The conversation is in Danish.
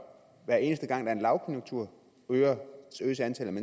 hver eneste gang der er en lavkonjunktur øges antallet af